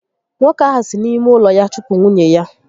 Nwoke ahụ si n'ime ụlọ ya chụpụ nwunye ya